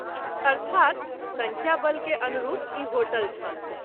अर्थात् संख्या बल के अनरूप ई होटल छल।